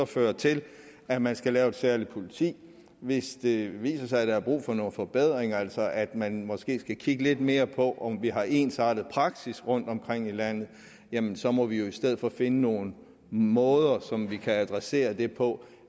fører til at man skal lave et særligt politi hvis det viser sig at der er brug for nogle forbedringer altså at man måske skal kigge lidt mere på om vi har en ensartet praksis rundtomkring i landet jamen så må vi jo i stedet finde nogle måder som vi kan adressere det på